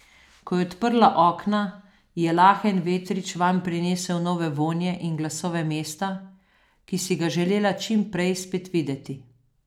Ko je odprla okna, je lahen vetrič vanj prinesel nove vonje in glasove mesta, ki si ga želela čim prej spet videti.